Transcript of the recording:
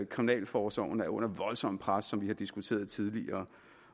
kriminalforsorgen er under voldsomt pres som vi har diskuteret tidligere